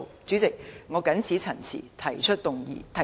主席，我謹此陳辭，提出議案。